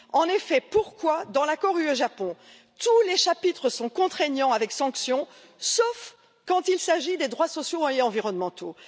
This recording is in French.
En effet, pourquoi, dans l'accord UE Japon, tous les chapitres sont ils contraignants avec sanctions, sauf quand il s'agit des droits sociaux et environnementaux?